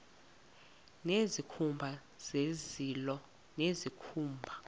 nezikhumba zezilo nezikhumba